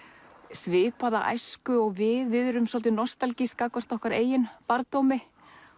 svipaða æsku og við við erum svolítið nostalgísk gagnvart okkar eigin barndómi